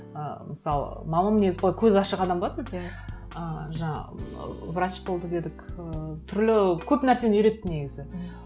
ы мысалы мамам негізі былай көзі ашық адам болатын иә ыыы жаңа ыыы врач болды дедік ыыы түрлі көп нәрсені үйретті негізі